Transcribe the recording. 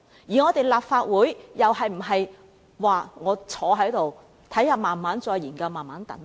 而立法會又應否坐在這裏，慢慢再作研究和等待呢？